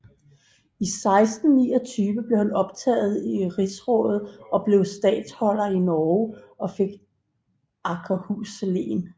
I 1629 blev han optaget i rigsrådet og blev statholder i Norge og fik Akershus Len